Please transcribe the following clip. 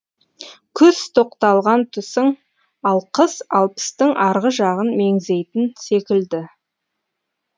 күз тоқталған тұсың ал қыс алпыстың арғы жағын меңзейтін секілді